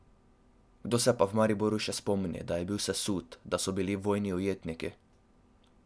Kdo se pa v Mariboru še spomni, da je bil sesut, da so bili vojni ujetniki ...